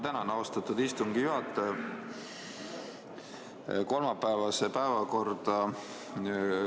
Tänan, austatud istungi juhataja!